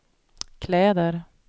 kläder